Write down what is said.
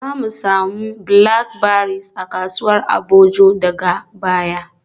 Zamu samu blackberries a kasuwar Agboju daga baya.